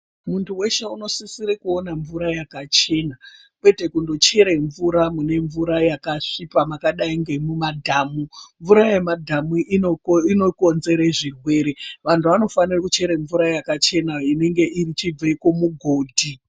Muntu weshe unosisire kuon mvura yakachena kwete kungochera mvura mune mvura yakasviba makadai memumadhamu mvura yemumadhamu inokonzere zvirwere vanhu vanofanire kuchere mvura yakachena inenge ichibva kumugodhi.